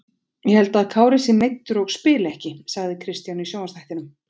Ég held að Kári sé meiddur og spili ekki sagði Kristján í sjónvarpsþættinum.